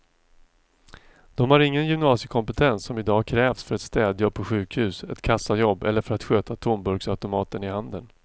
De har ingen gymnasiekompetens som i dag krävs för ett städjobb på sjukhus, ett kassajobb eller för att sköta tomburksautomaterna i handeln.